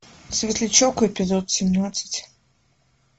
светлячок эпизод семнадцать